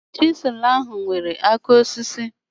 Chịsịlụ ahụ nwere áká osisi